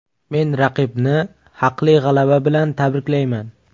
Men raqibni haqli g‘alaba bilan tabriklayman.